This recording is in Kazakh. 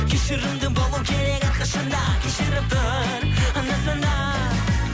кешірімді болу керек әрқашанда кешіріп тұр анда санда